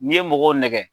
N'i ye mɔgɔw nɛgɛ